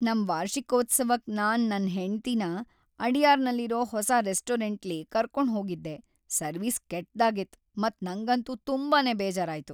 ನಮ್ ವಾರ್ಷಿಕೋತ್ಸವಕ್ ನಾನ್ ನನ್ ಹೆಂಡತಿನ ಅಡಯಾರ್‌ನಲ್ಲಿರೋ ಹೊಸ ರೆಸ್ಟೋರೆಂಟ್ಲಿ ಕರ್ಕೊಂಡ್ ಹೋಗಿದ್ದೆ ಸರ್ವಿಸ್ ಕೆಟ್ದಾಗಿತ್ ಮತ್ ನಂಗಂತೂ ತುಂಬಾನೇ ಬೇಜಾರಾಯ್ತು.